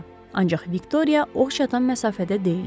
Ancaq Viktoriya ox çatan məsafədə deyildi.